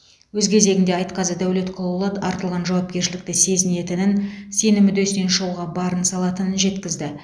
өз кезегінде айтқазы дәулетқұлұлы артылған жауапкершілікті сезінетінін сенім үдесінен шығуға барын салатынын жеткізді